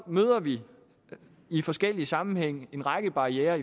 møder vi i forskellige sammenhænge en række barrierer